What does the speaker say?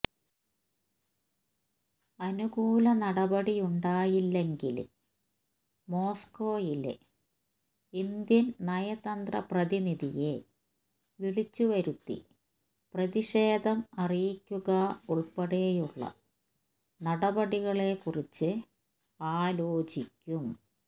അനുകൂല നടപടിയുണ്ടായില്ലെങ്കില് മോസ്കോയിലെ ഇന്ത്യന് നയതന്ത്രപ്രതിനിധിയെ വിളിച്ചുവരുത്തി പ്രതിഷേധം അറിയിക്കുക ഉള്പ്പെടെയുള്ള നടപടികളെക്കുറിച്ച് ആലോചിക്കും